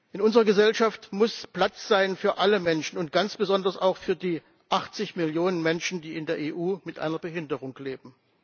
In unserer Gesellschaft muss Platz sein für alle Menschen, und ganz besonders auch für die 80 Millionen Menschen, die in der EU mit einer Behinderung leben.